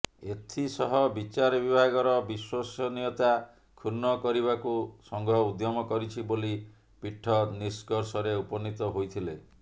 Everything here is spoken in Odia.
ଏଥିସହ ବିଚାର ବିଭାଗର ବିଶ୍ୱସନୀୟତା କ୍ଷୁଣ୍ଣ କରିବାକୁ ସଂଘ ଉଦ୍ୟମ କରିଛି ବୋଲି ପୀଠ ନିଷ୍କର୍ଷରେ ଉପନୀତ ହୋଇଥିଲେ